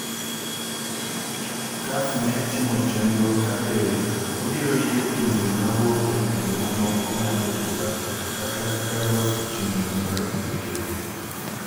Caf ne timo chenro ka be obiro yie pinje ma wuok e pinje mamoko ng’ado bura kata kata loso chenro mar tukego.